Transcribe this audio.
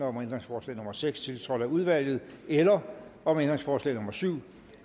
om ændringsforslag nummer seks tiltrådt af udvalget eller om ændringsforslag nummer syv